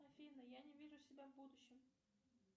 афина я не вижу себя в будущем